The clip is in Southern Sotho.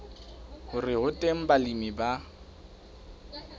hore ho teng balemi ba